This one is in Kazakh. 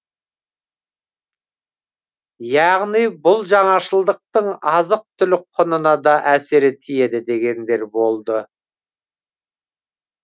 яғни бұл жаңашылдықтың азық түлік құнына да әсері тиеді дегендер болды